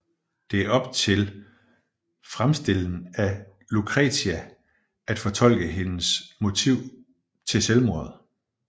Det er op til fremstillen af Lucretia at fortolke hendes motiv til selvmordet